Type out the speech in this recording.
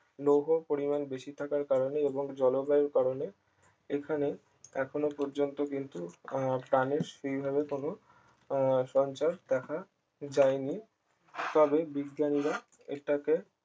লৌহ পরিবার বেশি থাকার কারণে এবং জলবায়ুর কারণে এখানে এখনো পর্যন্ত কিন্তু আহ প্রাণীর সেই ভাবে কোন আহ সঞ্চার দেখা যায়নি তবে বিজ্ঞানীরা এটাকে